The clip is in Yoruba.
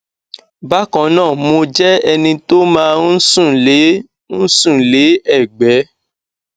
bákan náà mo jẹ ẹni tó máa ń sùn lé ń sùn lé ẹgbé